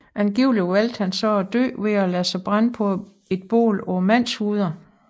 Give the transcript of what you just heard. Angiveligt valgte han så at dø ved at lade sig brænde på et bål af mandshoveder